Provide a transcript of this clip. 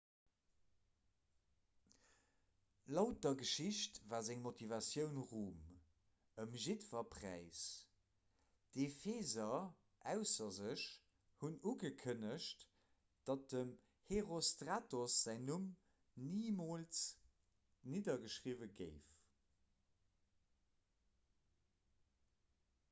laut der geschicht war seng motivatioun rum ëm jiddwer präis d'epheser ausser sech hunn ugekënnegt datt dem herostratos säin numm nimools niddergeschriwwe géif